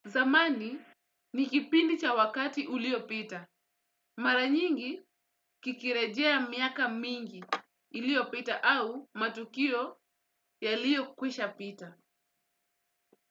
Zamani nikipindi cha wakati ulio pita. Maranyingi kikirejea miaka mingi iliyo pita au matukio ya lio kwisha pita.